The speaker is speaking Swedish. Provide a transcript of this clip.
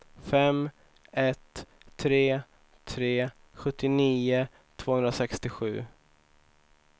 fem ett tre tre sjuttionio tvåhundrasextiosju